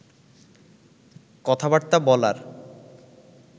কথাবার্তা বলার